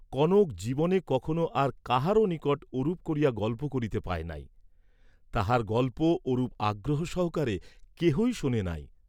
কনক জীবনে কখনো আর কাহারো নিকট ওরূপ করিয়া গল্প করিতে পায় নাই, তাহার গল্প ওরূপ আগ্রহ সহকারে কেহই শুনে নাই।